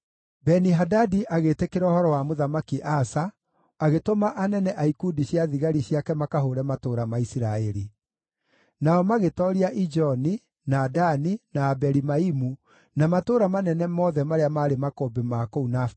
Beni-Hadadi agĩĩtĩkĩra ũhoro wa Mũthamaki Asa, agĩtũma anene a ikundi cia thigari ciake makahũũre matũũra ma Isiraeli. Nao magĩtooria Ijoni, na Dani, na Abeli-Maimu, na matũũra manene mothe marĩa maarĩ makũmbĩ ma kũu Nafitali.